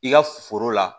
I ka foro la